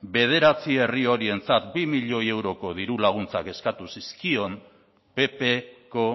bederatzi herrialde horientzat bi milioi euroko diru laguntzak eskatu zizkion ppko